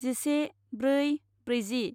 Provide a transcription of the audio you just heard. जिसे ब्रै ब्रैजि